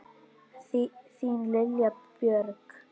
Þín Lilja Björg.